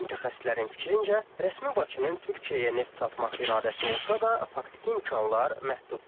Mütəxəssislərin fikrincə, rəsmi Bakının Türkiyəyə neft satmaq iradəsi olsa da, faktiki imkanlar məhduddur.